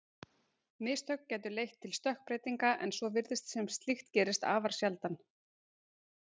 Mistök gætu leitt til stökkbreytinga en svo virðist sem slíkt gerist afar sjaldan.